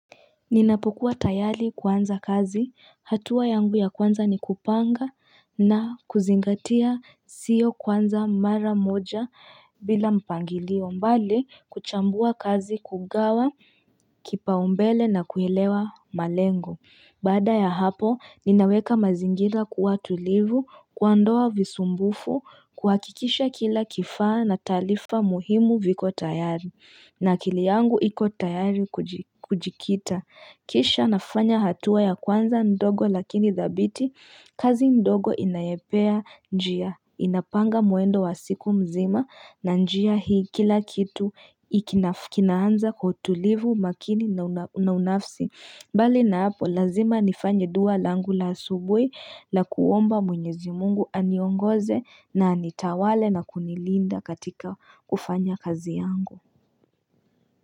Ninapokuwa tayari kuanza kazi hatua yangu ya kwanza ni kupanga na kuzingatia sio kwanza mara moja bila mpangilio mbali kuchambua kazi kugawa kipa umbele na kuelewa malengo Bada ya hapo, ninaweka mazingira kuwa tulivu kuo ndoa visumbufu kuwakikisha kila kifaa na talifa muhimu viko tayari. Na kili yangu iko tayari kujikita. Kisha nafanya hatua ya kwanza ndogo lakini zabiti, kazi ndogo inayepea njia. Inapanga mwendo wa siku mzima na njia hii kila kitu kinaanza kwa tulivu makini na unafsi. Mbali naapo lazima nifanye dua langu la asubui la kuomba mwenyezi mungu aniongoze na anitawale na kunilinda katika kufanya kazi yangu.